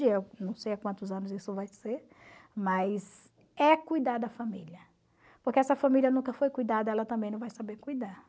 Eu não sei há quantos anos isso vai ser, mas é cuidar da família, porque essa família nunca foi cuidada, ela também não vai saber cuidar.